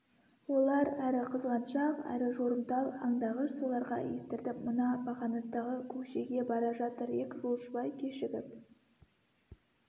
олар әрі қызғаншақ әрі жорымтал аңдағыш соларға естіртіп мына бақанастағы көкшеге бара жатыр ек жолшыбай кешігіп